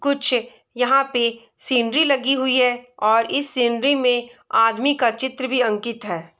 कुछ यहाँ पे सीनरी लगी हुई है और इस सीनरी में आदमी का चित्र भी अंकित है।